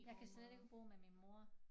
Jeg kan slet ikke bo med min mor